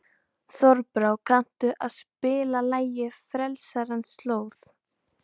Þorbrá, kanntu að spila lagið „Frelsarans slóð“?